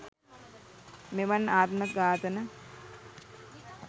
මෙවන් ආත්ම ඝාතන